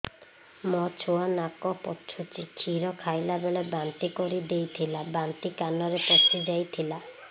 ମୋ ଛୁଆ କାନ ପଚୁଛି କ୍ଷୀର ଖାଇଲାବେଳେ ବାନ୍ତି କରି ଦେଇଥିଲା ବାନ୍ତି କାନରେ ପଶିଯାଇ ଥିଲା